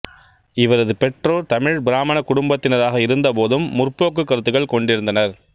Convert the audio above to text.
இவரது பெற்றோர் தமிழ் பிராமணக் குடும்பத்தினராக இருந்தபோதும் முற்போக்கு கருத்துக்கள் கொண்டிருந்தனர்